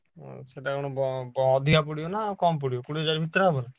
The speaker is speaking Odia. ହଁ ସେଇଟା ପୁଣି ବ ଅଧିକ ପଡ଼ିବ ନା କମ ପଡ଼ିବ କୋଡ଼ିଏ ହଜାର ଭିତରେ ହବନି?